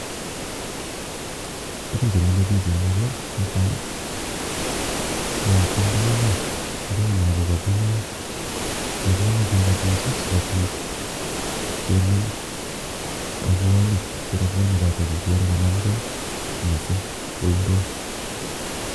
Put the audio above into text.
Tugun chemile biich en yu ko natai, mitei ndoi no, ndoi no kokabunu kakibunu kegabuchi sigobit kenem robwonik, che robwonik chotok igere kanamgei missing kou ndoit.